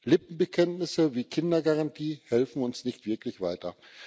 Lippenbekenntnisse wie die Kindergarantie helfen uns nicht wirklich weiter.